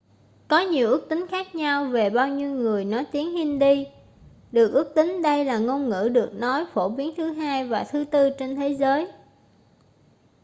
có nhiều ước tính khác nhau về bao nhiêu người nói tiếng hindi được ước tính đây là ngôn ngữ được nói phổ biến thứ hai và thứ tư trên thế giới